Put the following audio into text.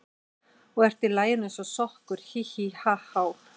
Og ert í laginu eins og sokkur, hí, hí, ha, há.